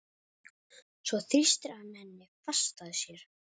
Svo þrýstir hann henni fast að sér.